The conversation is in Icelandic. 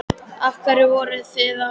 Af hverju voruð þið að því?